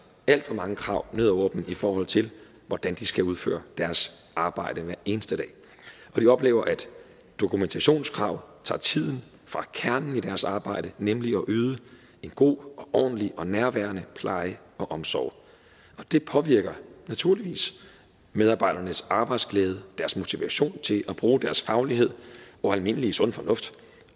alt for mange krav ned over dem i forhold til hvordan de skal udføre deres arbejde hver eneste dag og de oplever at dokumentationskrav tager tiden fra kernen i deres arbejde nemlig at yde en god og ordentlig og nærværende pleje og omsorg og det påvirker naturligvis medarbejdernes arbejdsglæde og deres motivation til at bruge deres faglighed og almindelige sunde fornuft